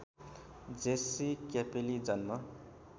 Jessie क्यापेली जन्म